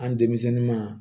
An denmisɛnnun ma